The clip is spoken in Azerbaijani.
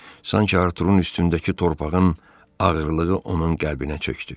Sanki Arturunun üstündəki torpağın ağırlığı onun qəlbinə çökdü.